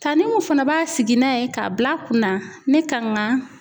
Tanti Umu fana b'a sigi n'a ye k'a bil'a kunna ne kan ka